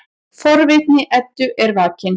Forvitni Eddu er vakin.